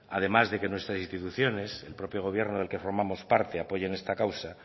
además de que nuestras instituciones el propio gobierno del que formamos parte apoyen esta causa